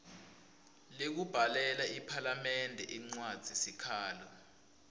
lekubhalela iphalamende incwadzisikhalo